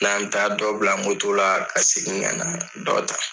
Yani an bɛ taa dɔ bila moto la , ka segin ka na dɔ ta.